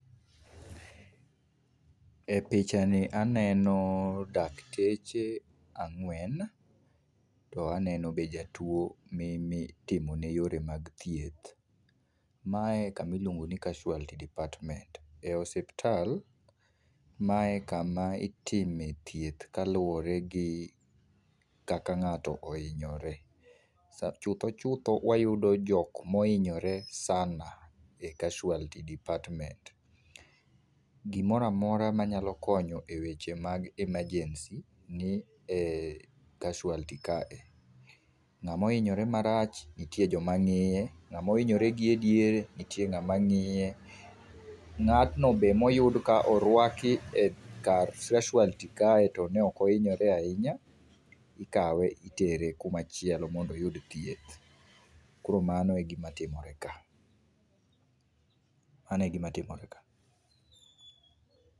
E pichani aneno dakteche ang'wen to aneno be jatuo mi mi timone yore mag thieth mae kama iluongo ni casualty department ee hospital mae kama itime thieth kaluwore gi kaka nga'to oinyore , chutho chutho wayudo jok mohinyore sana ee casualty department .Gimoro amora ma nyalo konyo e weche mag emergency ni ee casualty kae nga'ma ohinyore marach nga'ma ohinyore marach nitie jomangi'e, nga'ma ohinyore gie diere nitie nga'mangi'ye, nga'tno be moyud ka orwaki e kar casualty kae to ne okohinyore ahinya ikawe itere kumachielo mondo oyud thieth koro mano egima timore kae mano egima timore ka.